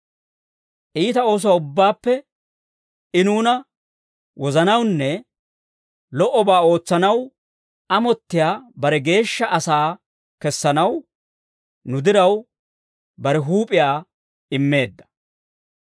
Iita oosuwaa ubbaappe I nuuna wozanawunne lo"obaa ootsanaw amottiyaa bare geeshsha asaa kessanaw, nu diraw, bare huup'iyaa immeedda.